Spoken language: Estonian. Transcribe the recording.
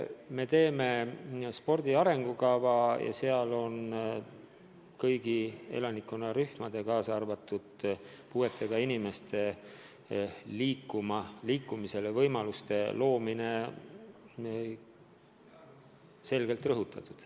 Me koostame spordi arengukava ja seal on kõigi elanikkonnarühmade, kaasa arvatud puuetega inimeste liikumisvõimaluste loomine selgelt rõhutatud.